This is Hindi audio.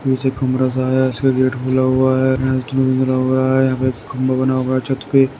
नीचे कमरा सा है उसका गेट खुला हुआ है खंबा बना हुआ है छत पे --